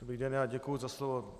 Dobrý den, já děkuji za slovo.